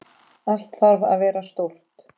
Allt þarf að vera stórt.